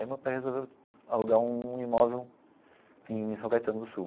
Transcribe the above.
Aí meu pai resolveu alugar um imóvel em São Caetano do Sul.